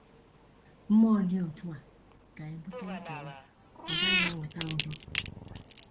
Mmụọ dị otu a ga-ebute nkewa; ọ gaghị eweta udo.